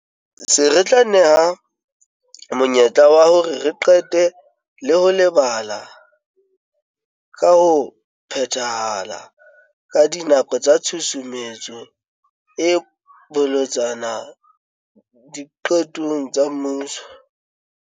Se tla re neha monyetla wa hore re qete le ho lebala ka ho phethahala ka dinako tsa tshusumetso e bolotsana diqetong tsa puso.